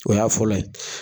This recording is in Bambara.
O y'a fɔlɔ ye.